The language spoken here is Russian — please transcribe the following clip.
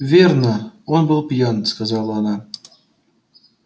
верно он был пьян сказала она